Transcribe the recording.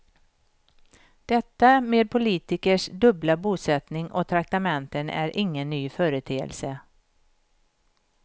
Detta med politikers dubbla bosättning och traktamenten är ingen ny företeelse.